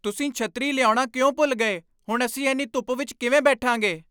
ਤੁਸੀਂ ਛੱਤਰੀ ਲਿਆਉਣਾ ਕਿਉਂ ਭੁੱਲ ਗਏ? ਹੁਣ ਅਸੀਂ ਇੰਨ੍ਹੀ ਧੁੱਪ ਵਿਚ ਕਿਵੇਂ ਬੈਠਾਂਗੇ?